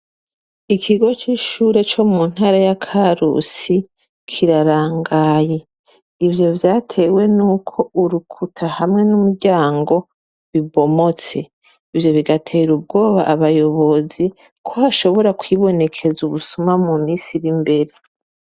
Ikigo c'ishure co mu ntara ya Karusi kirarangaye. Ivyo vyatewe n'uko urukuta hamwe n'umuryango ubomotse. Ivyo bigatera ubwoba abayobozi ko hashobora kwibonekeza ubusuma mu misi ir'imbere.